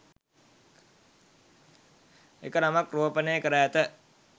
එක් නමක් රෝපණය කර ඇත